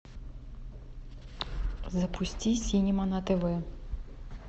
запусти синема на тв